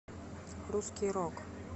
русский рок